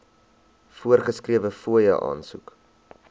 voorgeskrewe fooie aansoek